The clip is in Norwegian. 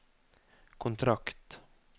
kontrakt